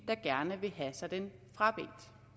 der gerne vil have sig den frabedt